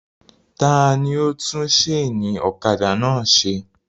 Ta ni ó tún sénì ọ̀kadà náà se?